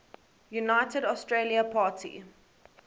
united australia party